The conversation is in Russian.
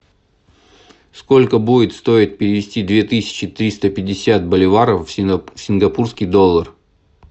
сколько будет стоить перевести две тысячи триста пятьдесят боливаров в сингапурский доллар